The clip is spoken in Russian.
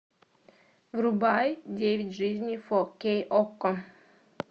врубай девять жизней фо кей окко